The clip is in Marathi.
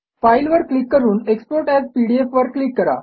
फाइल वर क्लिक करून एक्सपोर्ट एएस पीडीएफ वर क्लिक करा